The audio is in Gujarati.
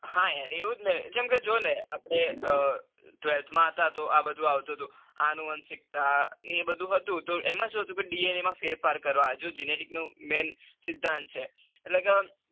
હા એવું જ ને જો ને આપડે twelfth માં હતા. તો આ બધું આવતું હતું આનુવંશિકતા એ બધું હતું. એમાં એ હતું કે DNA માં ફેરફાર કરવા જે genetic નો main સિંદ્ધાંત છે.